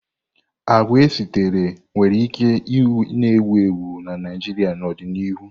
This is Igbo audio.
Agwa esitere nwere ike na-ewu ewu na Naịjirịa n'ọdịnihu.